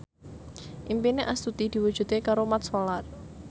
impine Astuti diwujudke karo Mat Solar